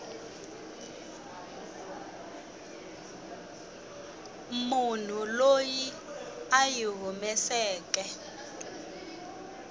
munhu loyi a yi humeseke